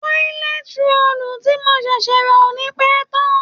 tọ́lẹt roòlù tí mo ṣẹ̀ṣẹ̀ rà ò ní pẹ́ tán